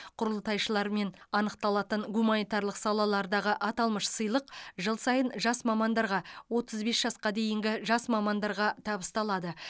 құрылтайшылармен анықталатын гуманитарлық салалардағы аталмыш сыйлық жыл сайын жас мамандарға отыз бес жасқа дейінгі жас мамандарға табысталады